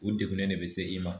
U degunnen de bɛ se i ma